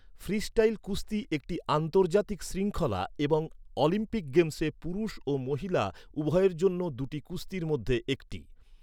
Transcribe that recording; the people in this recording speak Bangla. ফ্রিস্টাইল কুস্তি একটি আন্তর্জাতিক শৃঙ্খলা এবং অলিম্পিক গেমসে পুরুষ ও মহিলা উভয়ের জন্য দুটি কুস্তির মধ্যে একটি।